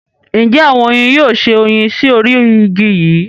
Njẹ awọn oyin yoo ṣe oyin sí orí igi yíì?